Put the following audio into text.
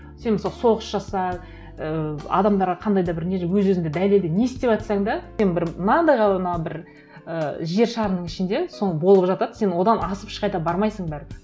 сен мысалы соғыс жаса ііі адамдарға қандай да бір не өз өзіңді дәлелде не істеватсаң да сен бір мынандай ғана бір ііі жер шарының ішінде соңы болып жатады сен одан асып ешқайда бармайсың бәрібір